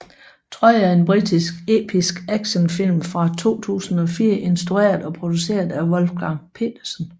Troy er en britisk episk actionfilm fra 2004 instrueret og produceret af Wolfgang Petersen